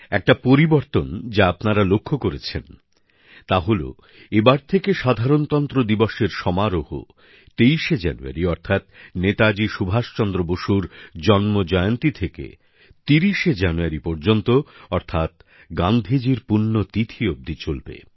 একটা পরিবর্তন যা আপনারা লক্ষ্য করেছেন তা হল এখন থেকে সাধারণতন্ত্র দিবসের সমারোহ ২৩শে জানুয়ারি অর্থাৎ নেতাজি সুভাষ চন্দ্র বসুর জন্মজয়ন্তী থেকে শুরু হয়েছে আর ৩০শে জানুয়ারি পর্যন্ত অর্থাৎ গান্ধীজির পুণ্যতিথি অবধি চলবে